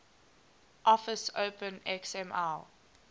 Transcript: office open xml